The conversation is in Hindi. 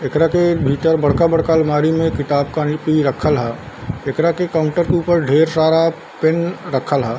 एकरा के भीतर बड़का बड़का आलमारी में किताब कॉपी रखल ह | एकरा के काउंटर के ऊपर ढेर सारा पेन रखल ह |